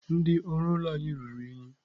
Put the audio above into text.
Ndị ọrụ ụlọ anyị ruru unyi.